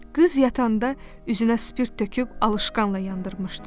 Qız yatanda üzünə spirt töküb alışqanla yandırmışdı.